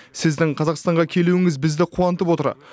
сіздің қазақстанға келуіңіз бізді қуантып отыр